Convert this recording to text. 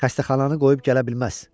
Xəstəxananı qoyub gələ bilməz.